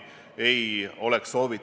Seal on hetkeinfo kohaselt keelatud ka erapeod.